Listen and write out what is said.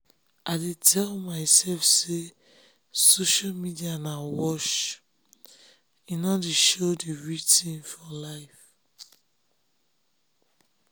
i tell myself say social media na wash wash e nor dey show d real tin for life.